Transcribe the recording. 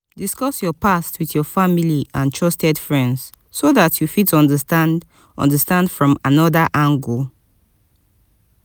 discuss your past with your family and trusted friends so dat you fit understand understand from anoda angle